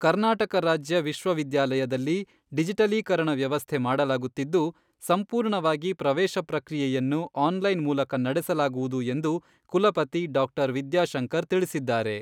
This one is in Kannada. ಕರ್ನಾಟಕ ರಾಜ್ಯ ವಿಶ್ವವಿದ್ಯಾಲಯದಲ್ಲಿ ಡಿಜಿಟಲೀಕರಣ ವ್ಯವಸ್ಥೆ ಮಾಡಲಾಗುತ್ತಿದ್ದು, ಸಂಪೂರ್ಣವಾಗಿ ಪ್ರವೇಶ ಪ್ರಕ್ರಿಯೆಯನ್ನು ಆನ್ಲೈನ್ ಮೂಲಕ ನಡೆಸಲಾಗುವುದು ಎಂದು ಕುಲಪತಿ ಡಾ. ವಿದ್ಯಾಶಂಕರ್ ತಿಳಿಸಿದ್ದಾರೆ.